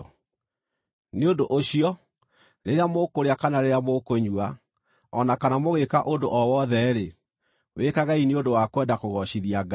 Nĩ ũndũ ũcio, rĩrĩa mũkũrĩa kana rĩrĩa mũkũnyua, o na kana mũgĩĩka ũndũ o wothe-rĩ, wĩkagei nĩ ũndũ wa kwenda kũgoocithia Ngai.